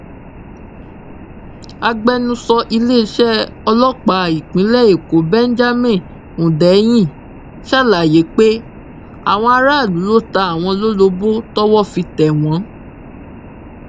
agbẹnusọ iléeṣẹ ọlọpàá ìpínlẹ èkó benjamin hundeyin ṣàlàyé pé àwọn aráàlú ló ta àwọn lólobó tọwọ fi tẹ wọn